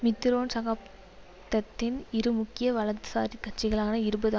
Mitterrand சகாப்தத்தின் இரு முக்கிய வலதுசாரிக் கட்சிகளாக இருபது